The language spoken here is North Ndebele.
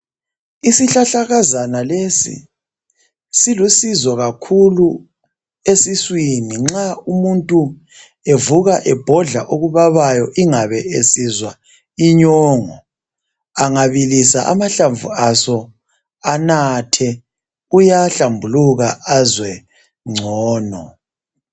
Isihlahlakazana lesi silusizo kakhulu esiswini nxa umuntu evuka ebhodla okubabayo ingabe esizwa inyongo. Angabilisa ahlamvu aso anathe, kuyahlambuluka azwe ngcono.